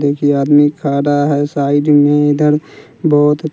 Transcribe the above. देखिए आदमी खा रहा है साइड में इधर बहुत--